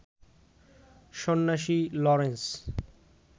সন্ন্যাসী লরেন্স